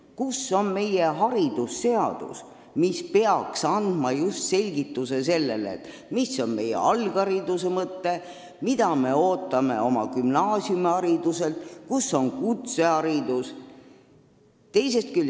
Kus on meie haridusseadus, mis peaks andma just selle selgituse, mis on meie alghariduse mõte, mida me ootame gümnaasiumihariduselt ja kus on kutseharidus?